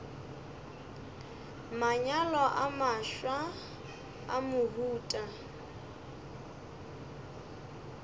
manyalo a mafsa a mohuta